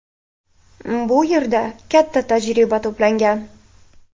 Bu yerda katta tajriba to‘plangan”.